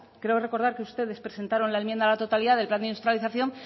creo recordar que ustedes presentaron la enmienda a la totalidad del plan de industrialización